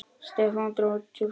Stefán dró djúpt andann.